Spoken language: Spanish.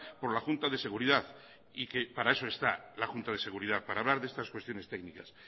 por la junta de seguridad y que para eso está la junta de seguridad para hablar de estas cuestiones técnicas